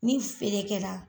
Ni feere kɛra